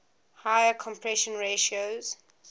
higher compression ratios